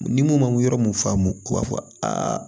Ni mun ma yɔrɔ mun faamu u b'a fɔ a